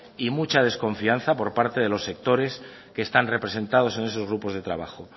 y mucha desconfianza por parte de los sectores que están representados en esos grupos de trabajo